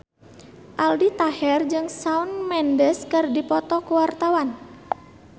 Aldi Taher jeung Shawn Mendes keur dipoto ku wartawan